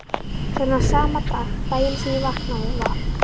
Þennan sama dag, daginn sem ég vaknaði, var